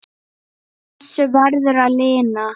Þessu verður að linna.